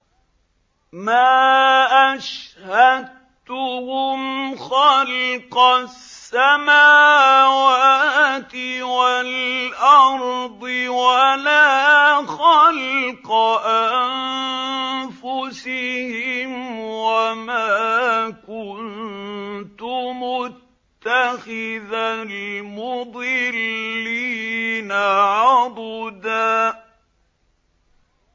۞ مَّا أَشْهَدتُّهُمْ خَلْقَ السَّمَاوَاتِ وَالْأَرْضِ وَلَا خَلْقَ أَنفُسِهِمْ وَمَا كُنتُ مُتَّخِذَ الْمُضِلِّينَ عَضُدًا